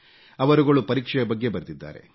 ಅವರುಗಳು ಪರೀಕ್ಷೆಯ ಬಗ್ಗೆ ಬರೆದಿದ್ದಾರೆ